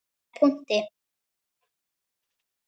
Með punkti.